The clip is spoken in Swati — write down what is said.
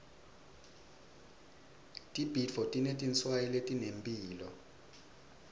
tibhidvo tinetinswayi letinemphilo